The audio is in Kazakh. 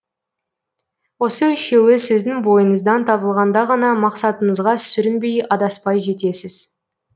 осы үшеуі сіздің бойыңыздан табылғанда ғана мақсатыңызға сүрінбей адаспай жетесіз